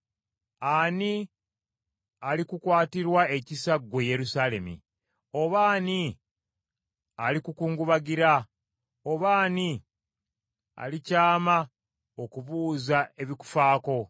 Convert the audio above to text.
“Ani alikukwatirwa ekisa ggwe Yerusaalemi? Oba ani alikukungubagira? Oba ani alikyama okubuuza ebikufaako?